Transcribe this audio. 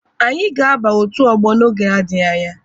Anyị ga-aba otu ọgbọ oge na-adịghi anya.